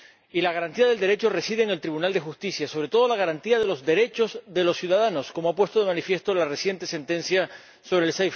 Y la garantía del Derecho reside en el Tribunal de Justicia, sobre todo la garantía de los derechos de los ciudadanos, como ha puesto de manifiesto la reciente sentencia sobre el